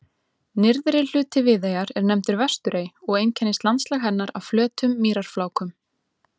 Nyrðri hluti Viðeyjar er nefndur Vesturey og einkennist landslag hennar af flötum mýrarflákum.